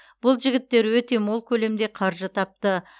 бұл жігіттер өте мол көлемде қаржы тапты